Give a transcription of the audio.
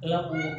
Ne ko